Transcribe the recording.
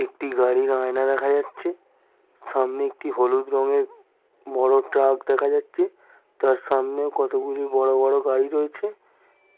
একটি গাড়ির আয়না দেখা যাচ্ছে। সামনে একটি হলুদ রঙের বড় ট্রাক দেখা যাচ্ছে। তার সামনে কতগুলি বড় বড় গাড়ি রয়েছে।